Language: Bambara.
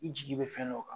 I jigi bɛ fɛn dɔ kan